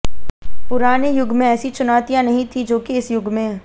पुराने युग में ऐसी चुनौतियां नहीं थी जो कि इस युग में